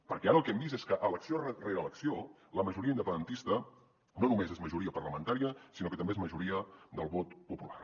perquè ara el que hem vist és que elecció rere elecció la majoria independentista no només és majoria parlamentària sinó que també és majoria del vot popular